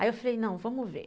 Aí eu falei, não, vamos ver.